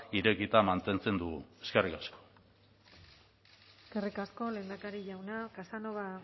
irekita mantentzen dugu eskerrik asko eskerrik asko lehendakari jauna casanova